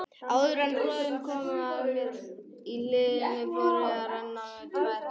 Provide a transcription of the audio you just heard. Áður en röðin kom að mér í hliðinu fóru að renna á mig tvær grímur.